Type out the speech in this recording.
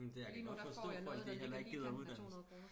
Lige nu der får jeg noget der ligger lige i kanten af 200 kroner